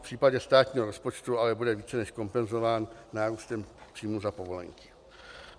V případě státního rozpočtu ale bude více než kompenzován nárůstem příjmů za povolenky.